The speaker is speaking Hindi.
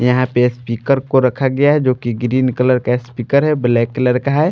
यहां पे स्पीकर को रखा गया है जो कि ग्रीन कलर का स्पीकर है ब्लैक कलर का है।